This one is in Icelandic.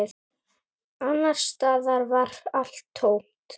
Annars staðar var allt tómt.